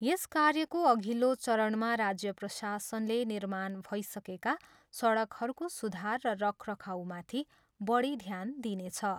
यस कार्यको अधिल्लो चरणमा राज्य प्रशासनले, निर्माण भइसकेका सडकहरूको सुधार र रखरखाउमाथि बढी ध्यान दिनेछ।